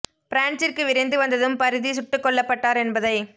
பிரான்சிற்கு விரைந்து வந்ததும் பரிதி சுட்டுக் கொல்லப் பட்டார் என்பதை